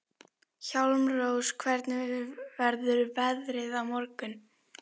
Hjálmrós, hvernig verður veðrið á morgun?